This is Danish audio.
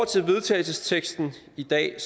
til vedtagelsesteksten i dag